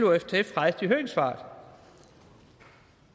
og ftf rejste i høringssvaret